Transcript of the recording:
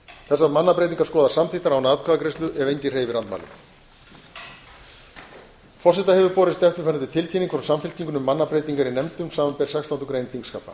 þessar mannabreytingar skoðast samþykktar án atkvæðagreiðslu ef enginn hreyfir andmælum forseta hefur borist eftirfarandi tilkynning frá samfylkingunni um mannabreytingar í nefndum þingsins samanber sextándu grein þingskapa